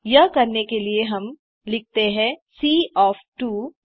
यह करने के लिए हम लिखते हैं सी ओएफ 23